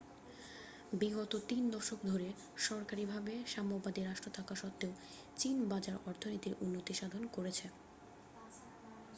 বিগত তিন দশক ধরে সরকারীভাবে সাম্যবাদী রাষ্ট্র থাকা সত্ত্বেও চীন বাজার অর্থনীতির উন্নতি সাধন করেছে